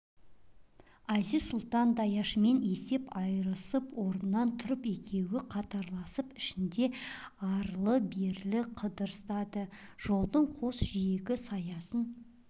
әзиз-сұлтан даяшымен есеп айырысып орнынан тұрды екеуі қатарласып ішінде арлы-берлі қыдырыстады жолдың қос жиегі саясын